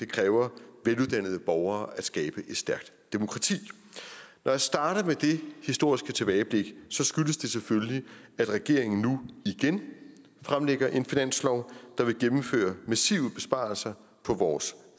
kræver veluddannede borgere at skabe et stærkt demokrati når jeg starter med det historiske tilbageblik skyldes det selvfølgelig at regeringen nu igen fremlægger en finanslov der vil gennemføre massive besparelser på vores